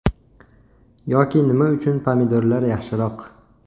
Yoki nima uchun pomidorlar yaxshiroq.